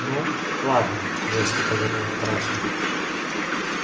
ну ладно резко повернул митраша